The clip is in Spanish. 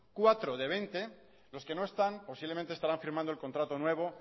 cuatro de veinte los que no están posiblemente estarán firmando el contrato nuevo